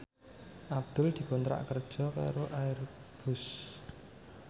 Abdul dikontrak kerja karo Airbus